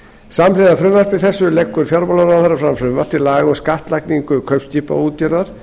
samhliða frumvarpi þessu leggur fjármálaráðherra fram frumvarp til laga um skattlagningu kaupskipaútgerðar